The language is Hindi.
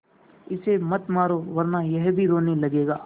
इसे मत मारो वरना यह भी रोने लगेगा